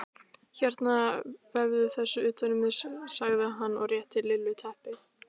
Hérna vefðu þessu utan um þig sagði hann og rétti Lillu teppi.